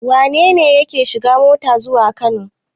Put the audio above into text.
Wane ne yake shiga mota zuwa Kano?